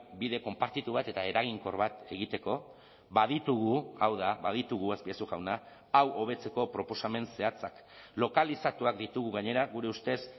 bide konpartitu bat eta eraginkor bat egiteko baditugu hau da baditugu azpiazu jauna hau hobetzeko proposamen zehatzak lokalizatuak ditugu gainera gure ustez